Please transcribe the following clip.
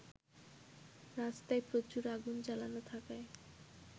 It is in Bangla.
রাস্তায় প্রচুর আগুন জ্বালানো থাকায়